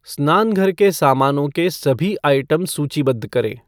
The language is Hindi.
स्नानघर के सामानों के सभी आइटम सूचीबद्ध करें